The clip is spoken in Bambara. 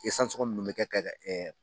sɔngon munnukɛ bɛ kɛ ka